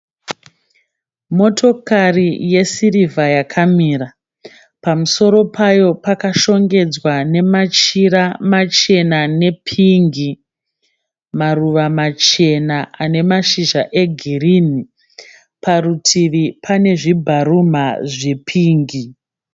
Motokari yesirivha yakamira. Pamusoro payo pakashongedzwa nemachira machena nepingi. Maruva machena ane mashizha egirinhi. Parutivi pane zvibharumha zvepingi.